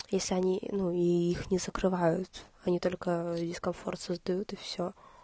если они ну и их не закрывают они только дискомфорт создают и всё